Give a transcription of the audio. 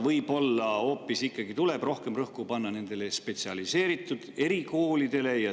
Võib-olla tuleb ikkagi rohkem rõhku panna nendele spetsialiseeritud erikoolidele.